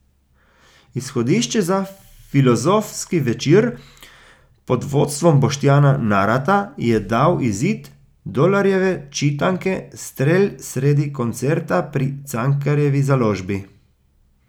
Izhodišče za filozofski večer pod vodstvom Boštjana Narata je dal izid Dolarjeve čitanke Strel sredi koncerta pri Cankarjevi založbi.